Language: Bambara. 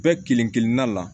Bɛɛ kelen kelenna la